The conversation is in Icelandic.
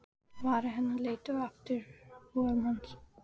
Varir hennar leituðu eftir vörum hans.